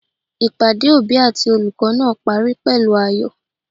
Ìpàdé òbí àti olùkó náà parí pèlú ayò